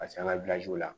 Ka se an ka la